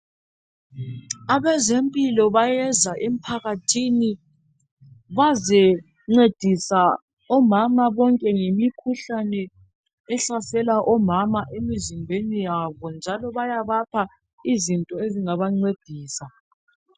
Abezempilo bayeza emphakathini bazencedisa omama bonke ngemikhuhlane ehlasela omama emizimbeni yabo njalo bayabapha izinto ezingabancedisa .